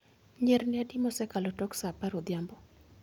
Nyirni adi mosekalo tok sa apar odhiambo